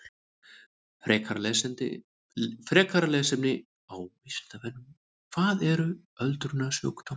Frekara lesefni á Vísindavefnum: Hvað eru öldrunarsjúkdómar?